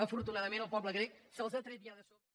afortunadament el poble grec se’ls ha tret ja de sobre